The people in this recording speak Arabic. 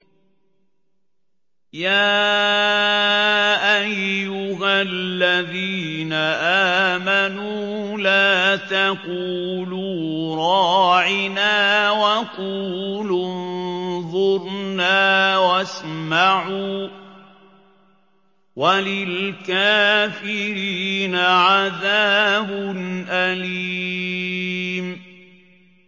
يَا أَيُّهَا الَّذِينَ آمَنُوا لَا تَقُولُوا رَاعِنَا وَقُولُوا انظُرْنَا وَاسْمَعُوا ۗ وَلِلْكَافِرِينَ عَذَابٌ أَلِيمٌ